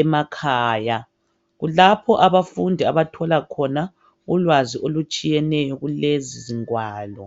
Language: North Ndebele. emakhaya. Kulapho abafundi abathola khona ukwazi olutshiyeneyo kulezi zingwalo.